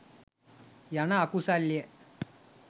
යන අකුසල්ය.